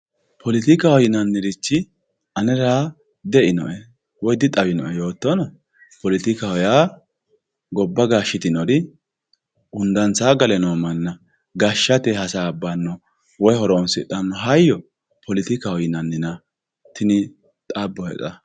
politikaho yinannirichi anera di"einoe woy dixawinoe yoottona politikaho yaa gobba gashshitinori hundansaa gale no manna gashshate hasaabbanna woy horoonsidhanno hayyo politikaho yinannina tini xabbohe xa.